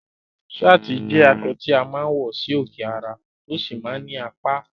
Sáàtì jẹ́ aṣọ tí a máa ń wọ sí òkè ara, tó sì máa ń ní apá